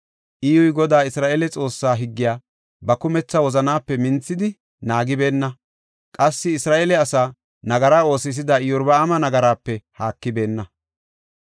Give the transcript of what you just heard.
Iyyuy Godaa Isra7eele Xoossaa higgiya ba kumetha wozanaape minthidi naagibeenna; qassi Isra7eele asaa nagara oosisida Iyorbaama nagaraape haakibeenna.